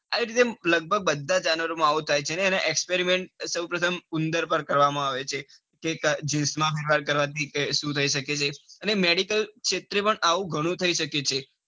હા એટલે લગભગ બધા જાનવરો માં આવું થાય છે. અને experiments સૌપ્રથમ ઉંદર પર કરવામાં આવે છે. genes માં કરવાથી સુ થઇ શકે છે. એટલે medical ક્ષેત્રે પણ એવું ગણું થઇ શકે છે.